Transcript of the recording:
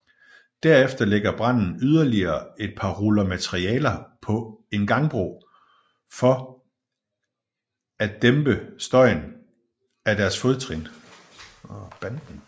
Derefter lægger banden yderligere et par ruller materialer på en gangbro for at dæmpe støjen af deres fodtrin